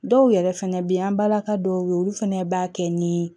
Dɔw yɛrɛ fɛnɛ be yen an balaka dɔw ye olu fɛnɛ b'a kɛ ni